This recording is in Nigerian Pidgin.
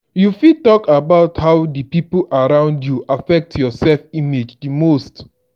you fit talk about how di people around you affect your self-image di most.